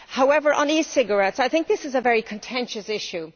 However, on e cigarettes, I think this is a very contentious issue.